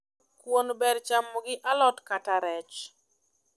Kuon ber chamo gi alot kata rech